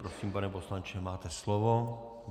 Prosím, pane poslanče, máte slovo.